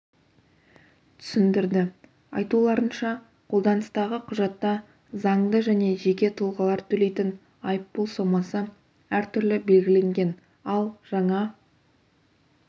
түсіндірді айтуларынша қолданыстағы құжатта заңды және жеке тұлғалар төлейтін айыппұл сомасы әртүрлі белгіленген ал жаңа